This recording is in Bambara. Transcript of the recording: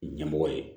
Ɲɛmɔgɔ ye